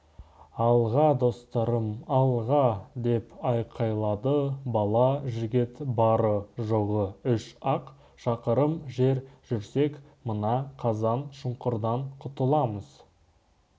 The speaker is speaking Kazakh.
алға достарым алға деп айқайлады бала жігіт бары-жоғы үш-ақ шақырым жер жүрсек мына қазан шұңқырдан құтыламыз